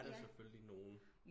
Der er selvfølgelig nogen